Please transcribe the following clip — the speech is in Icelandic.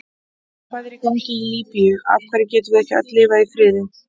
Hvað er í gangi í Líbíu, af hverju getum við ekki öll lifað í friði?